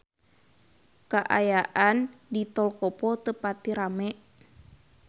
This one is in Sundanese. Kaayaan di Tol Kopo teu pati rame